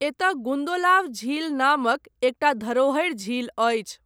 एतय गुन्दोलाव झील नामक एकटा धरोहरि झील अछि।